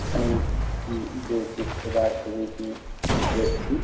আমি উ যে চিত্রটা ছবিটি দেখছি--